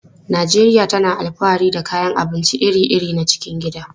Najeriya tana alfahari da kayan abinci iri-iri na cikin gida.